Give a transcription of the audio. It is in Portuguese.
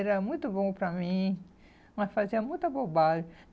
Ele era muito bom para mim, mas fazia muita bobagem.